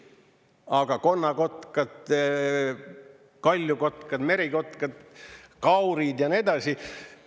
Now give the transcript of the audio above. Aga konnakotkad, kaljukotkad, merikotkad, kaurid ja nii edasi?